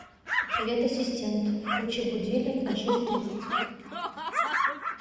привет ассистент включи будильник на шесть тридцать